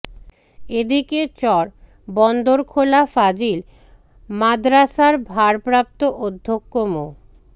এ দিকে চর বন্দরখোলা ফাজিল মাদরাসার ভারপ্রাপ্ত অধ্যক্ষ মো